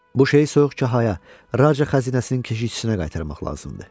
Bu şeyi soyuq kahaya, Raca xəzinəsinin keşişçisinə qaytarmaq lazımdır.